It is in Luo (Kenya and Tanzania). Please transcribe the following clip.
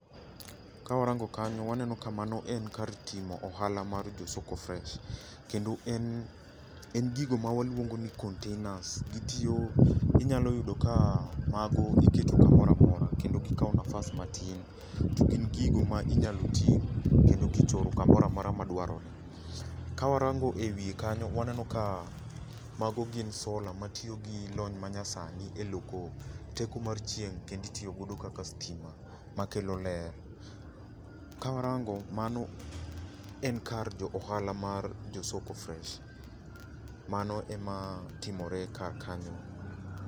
Ka warango kanyo, waneno ka mano en kar timo ohala mar jo soko fresh. Kendo en, en gigo ma waluongo ni containers. Gitiyo, inyalo yudo ka mago iketo kamora mora kendo gikao nafas matin to gin gigo ma inyalo ting' kendo kichoro kamora mora madwarore. Ka warango e wiye kanyo, waneno ka mago gin solar matiyo gi lony manyasani e loko teko mar chieng' kendo itiyogodo kaka stima ma kelo ler. Kawarango mano en kar jo ohala mar jo soko fresh. Mano e ma timore kar kanyo.